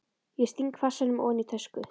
Ég sting farsímanum ofan í tösku.